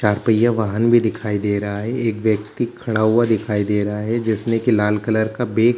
चार पहिया वाहन भी दिखाई दे रहा है एक व्यक्ति भी खड़ा हुआ दिखाई दे रहा है जिसने लाल कलर का बेग --